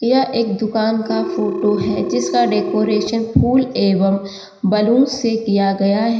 यह एक दुकान का फोटो है जिसका डेकोरेशन फूल एवं बैलून से किया गया है।